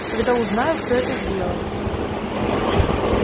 когда узнаю кто это сделал